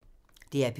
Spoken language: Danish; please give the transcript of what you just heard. DR P3